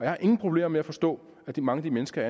har ingen problemer med at forstå at mange af de mennesker